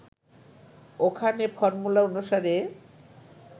ওখানে ফর্মুলা অনুসারে